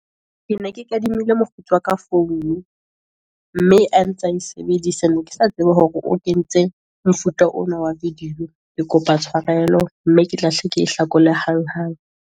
Ke ne ke kadimile mokgotsi wa ka founu, mme a ntsa e sebedisa, ne ke sa tsebe hore o kentse mofuta ona wa video. Ke kopa tshwarelo, mme ke tlahle, ke hlakolehe hang hang.